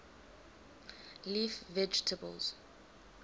leaf vegetables